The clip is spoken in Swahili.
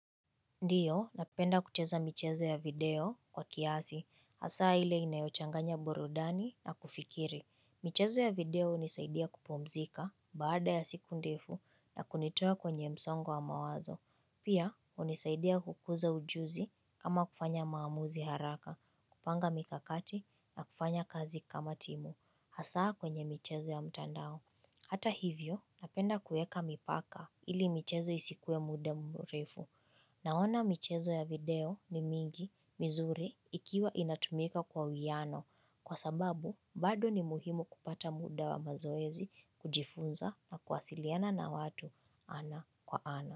Ndiyo, napenda kucheza michezo ya video kwa kiasi, hasa hile inayochanganya burudani na kufikiri. Michezo ya video hunisaidia kupumzika baada ya siku ndefu na kunitoa kwenye msongo wa mawazo. Pia, hunisaidia kukuza ujuzi ama kufanya maamuzi haraka, kupanga mikakati na kufanya kazi kama timu, hasa kwenye michezo ya mtandao. Hata hivyo napenda kueka mipaka ili michezo isikue muda murefu. Naona michezo ya video ni mingi mizuri ikiwa inatumika kwa uiano kwa sababu bado ni muhimu kupata muda wa mazoezi kujifunza na kuwasiliana na watu ana kwa ana.